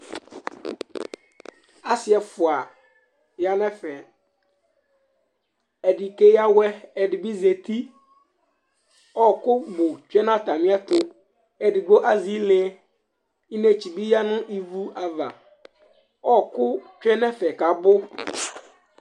Asɩ ɛfʋa ya nʋ ɛfɛ Ɛdɩ keyǝ awɛ, ɛdɩ bɩ zati Ɔɣɔkʋ bʋ tsue nʋ atamɩɛtʋ Edigbo azɛ ile Idetsi bɩ yǝ nʋ ivu ava, ɔɣɔkʋ tsue nʋ ɛfɛ kʋ abʋ